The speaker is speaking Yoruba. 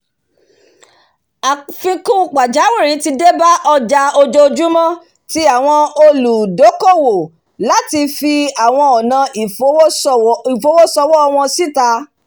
àfikún pàjáwìrì tí ó débá ojà ojojúmó ti áwon olùókówò láti fi àwon onà ìfowosòwò won sita